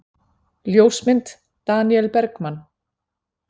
Ljósmynd: Daníel Bergmann.